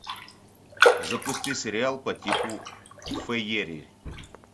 запусти сериал по типу фэери